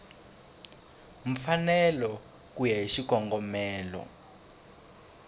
mfanelo ku ya hi xikongomelo